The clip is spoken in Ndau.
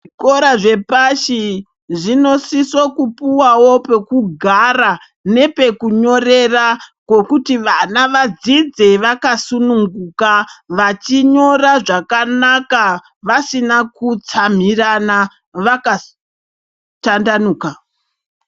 Zvikora zvepashi zvinosiso kupuwawo pokugara nepekunyorera pekuti vana vadzidze vakasununguka vachinyora zvakanaka, vasina kutsamhirana vakatandanuka.